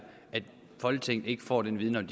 at folketinget ikke får den viden om